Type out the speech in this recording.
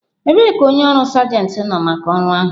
Ebee ka onye ọrụ sergent nọ maka ọrụ ahụ?